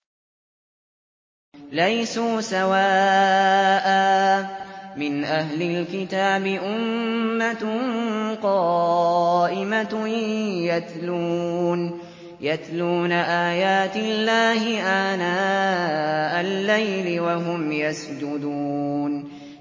۞ لَيْسُوا سَوَاءً ۗ مِّنْ أَهْلِ الْكِتَابِ أُمَّةٌ قَائِمَةٌ يَتْلُونَ آيَاتِ اللَّهِ آنَاءَ اللَّيْلِ وَهُمْ يَسْجُدُونَ